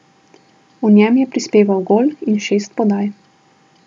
V njem je prispeval gol in šest podaj.